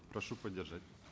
прошу поддержать